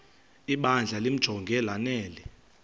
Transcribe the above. ibandla limjonge lanele